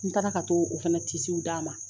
N taara ka to o fɛnɛ d'a ma.